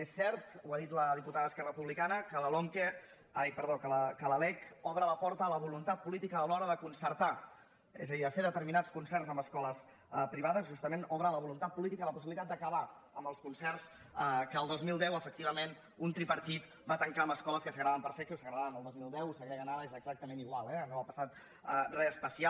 és cert ho ha dit la diputada d’esquerra republicana que la lec obre la porta a la voluntat política a l’hora de concertar és a dir de fer determinats concerts amb escoles privades justament obre a la voluntat política la possibilitat d’acabar amb els concerts que el dos mil deu efectivament un tripartit va tancar amb escoles que segregaven per sexe ho segregaven el dos mil deu ho segreguen ara eh és exactament igual eh no ha passat res especial